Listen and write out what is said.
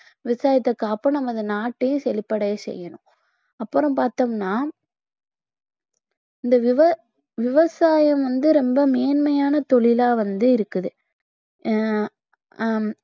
விவசாயத்தை காப்போம் நாம் இந்த நாட்டையும் செழிப்படைய செய்யணும் அப்புறம் பார்த்தோம்னா இந்த விவ~ விவசாயம் வந்து ரொம்ப மேன்மையான தொழிலா வந்து இருக்குது ஆஹ் ஹம்